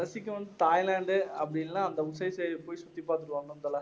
Thailand அப்படின்னா போயி சுத்தி பார்த்துட்டு வரணும் தல